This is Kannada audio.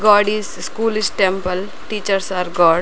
ಗೋಡ್ is school is temple teachers are god .